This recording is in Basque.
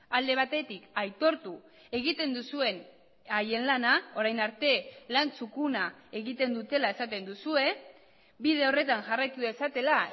alde batetik aitortu egiten duzuen haien lana orain arte lan txukuna egiten dutela esaten duzue bide horretan jarraitu dezatela